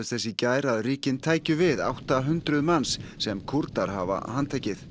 þess í gær að ríkin tækju við átta hundruð manns sem Kúrdar hafa handtekið